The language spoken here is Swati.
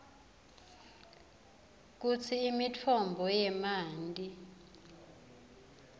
kutsi imitfombo yemanti